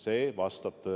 See vastab tõele.